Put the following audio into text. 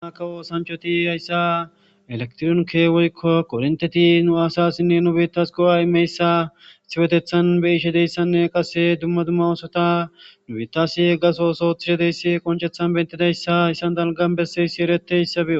Dumma kawo sanchoti yayssa elektronkewoykko qorinteti nu asassinne nubitas qo7aimeyssa siwetethan be ishe deyssanne qase dumma dumma oosota nubitas gasoso tishedeyssi qonchethan bentidayssa issan dalgan besseysi ereteyssa be'os